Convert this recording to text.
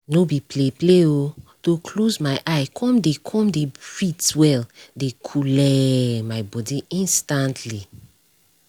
no be play play o to close my eye come dey come dey breathe well dey coole my body instantly